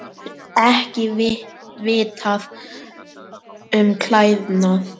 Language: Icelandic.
Ekki vitað um klæðnað